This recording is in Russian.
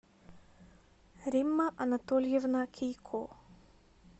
римма анатольевна кийко